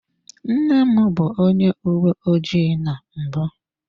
Nna m bụ onye uwe ojii na mbụ.